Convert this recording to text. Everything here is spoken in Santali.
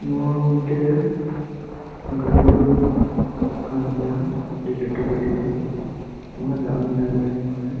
ᱱᱚᱣᱟ ᱢᱤᱴᱮᱡ ᱜᱚᱰᱭᱟᱹ ᱠᱟᱱ ᱜᱤᱭᱟ ᱟᱹᱰᱤ ᱞᱟᱹᱴᱩ ᱜᱚᱰᱭᱟᱹ ᱟᱭᱢᱟ ᱫᱟᱜ ᱢᱤᱱᱟᱜ ᱜᱤᱭᱟ ᱱᱚᱣᱟ ᱨᱮ᱾